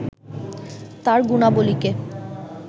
তার গুণাবলিকে